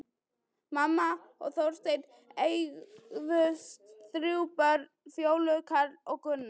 Mamma og Þorsteinn eignuðust þrjú börn, Fjólu, Karl og Gunnar.